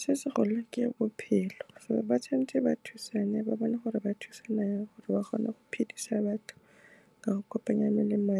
Se se golo ke bophelo, gore ba tshwan'tse ba thusane ba bone gore ba thusana jang gore ba kgone go phedisa batho, ka go kopanya melemo